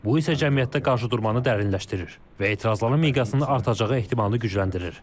Bu isə cəmiyyətdə qarşıdurmanı dərinləşdirir və etirazların miqyasının artacağı ehtimalını gücləndirir.